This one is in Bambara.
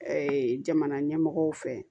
jamana ɲɛmɔgɔw fɛ